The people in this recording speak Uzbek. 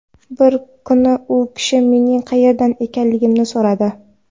Bir kuni u kishi mening qayerdan ekanligimni so‘radi.